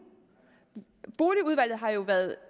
boligudvalget har været